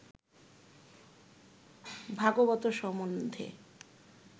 ভাগবত সম্বন্ধে